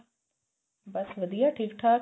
ਬੱਸ ਵਧੀਆ ਠੀਕ ਠਾਕ